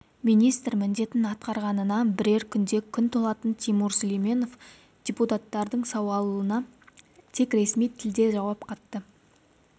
министр міндетін атқарғанына бірер күнде күн толатын тимур сүлейменов депутаттардың сауалына тек ресми тілде жауап қатты